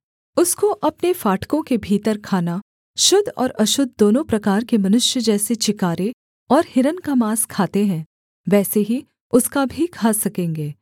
उसको अपने फाटकों के भीतर खाना शुद्ध और अशुद्ध दोनों प्रकार के मनुष्य जैसे चिकारे और हिरन का माँस खाते हैं वैसे ही उसका भी खा सकेंगे